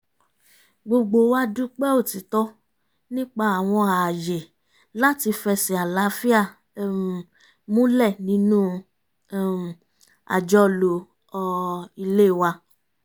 gbogbo wa dúpẹ́ òtìtọ́ nípa àwọn ààyè láti fẹsẹ̀ àlàáfíà um múlẹ̀ nínú um àjọlò ilé wa